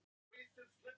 Allt upp á tíu.